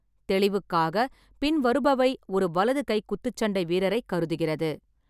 தெளிவுக்காக, பின்வருபவை ஒரு வலது கை குத்துச்சண்டை வீரரைக் கருதுகிறது.